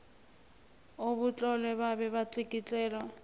obutlolwe babe batlikitlelwa